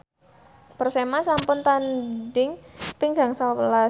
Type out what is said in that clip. Persema sampun tandhing ping gangsal welas